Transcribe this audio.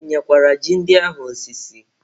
I tinyekwara ji ndị ahụ osisi?